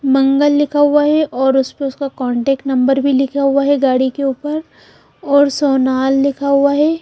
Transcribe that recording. मंगल लिखा हुआ हैं और ऊसपे उस्का कॉन्टॅक्ट नंबर लिखा हुआ हैं गाडी के उपर और सोनाल लिखा हुआ हैं।